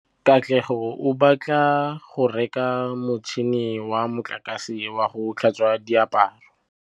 Katlego o batla go reka motšhine wa motlakase wa go tlhatswa diaparo.